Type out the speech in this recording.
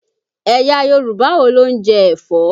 Ẹ̀yà Yorùbá wo ló ń jẹ ẹ̀fọ́?